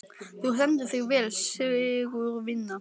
Þú stendur þig vel, Sigurvina!